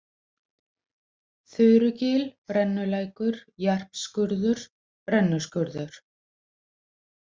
Þurugil, Brennulækur, Jarpsskurður, Brennuskurður